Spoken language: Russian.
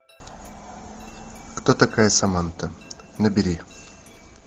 кто такая саманта набери